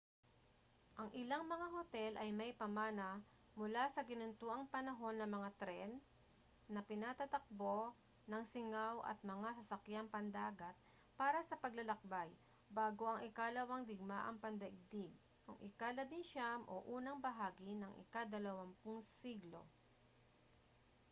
ang ilang mga hotel ay may pamana mula sa ginintuang panahon ng mga tren na pinatatakbo ng singaw at mga sasakyang pandagat para sa paglalakbay bago ang ikalawang digmaang pandaigdig noong ika-19 o unang bahagi ng ika-20 siglo